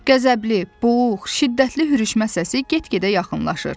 Qəzəbli, boğuq, şiddətli hürüşmə səsi get-gedə yaxınlaşır.